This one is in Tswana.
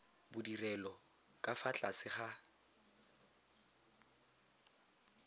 bodirelo ka fa tlase ga